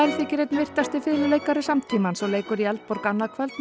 þykir einn virtasti fiðluleikari samtímans og leikur í Eldborg annað kvöld með